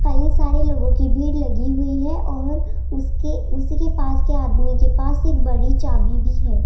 कई सारे लोगों की भीड़ लगी हुई है और उसके उसी के पास के आदमी के पास एक बड़ी सी चाभी भी है।